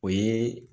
O ye